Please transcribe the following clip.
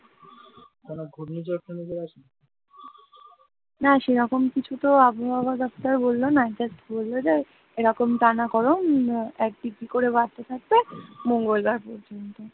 না সেরকম কিছু তো আবহাওয়া দপ্তর বলল না just বলল যে এরকম টানা গরম এক degree করে বাড়তে থাকবে মঙ্গলবার পর্যন্ত,